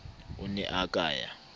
o ne a ka ya